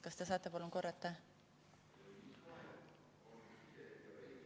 Kas te saate palun korrata?